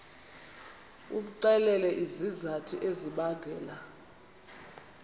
umxelele izizathu ezibangela